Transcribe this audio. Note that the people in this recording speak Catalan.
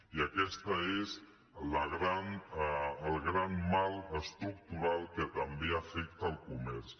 i aquest és el gran mal estructural que també afecta el comerç